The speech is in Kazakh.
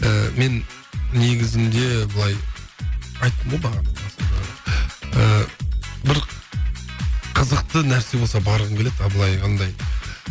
ыыы мен негізінде былай айттым ғой бағана басында ыыы бір қызықты нәрсе болса барғым келеді а былай андай